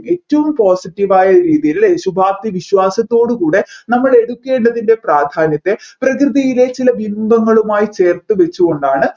ഏറ്റവും postive യായ രീതിയിൽ ശുഭാപ്തി വിശ്വാസത്തോട് കൂടെ നമ്മൾ എടുക്കേണ്ടതിൻെറ പ്രാധ്യാനത്തെ പ്രകൃതിയിലേക്കുള്ള ബിംബങ്ങളുമായി ചേർത്തുവെച്ച് കൊണ്ടാണ്